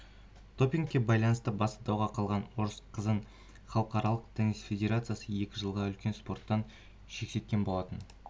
допингке байланысты басы дауға қалған орыс қызын халықаралық теннис федерациясы екі жылға үлкен спорттан шеттеткен болатын